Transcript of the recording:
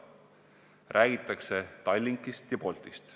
Räägitakse Tallinkist ja Boltist.